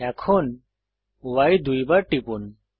এখন Y দুইবার টিপুন